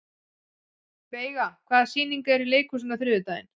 Veiga, hvaða sýningar eru í leikhúsinu á þriðjudaginn?